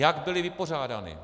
Jak byly vypořádány?